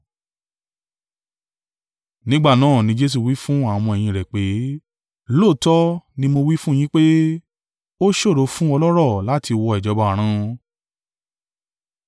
Nígbà náà, ní Jesu wí fún àwọn ọmọ-ẹ̀yìn rẹ̀ pé, “Lóòótọ́ ni mo wí fún yín pé, ó ṣòro fún ọlọ́rọ̀ láti wọ ìjọba Ọ̀run.”